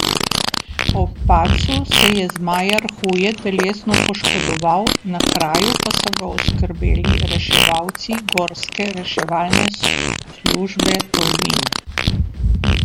Ob padcu se je zmajar huje telesno poškodoval, na kraju pa so ga oskrbeli reševalci Gorske reševalne službe Tolmin.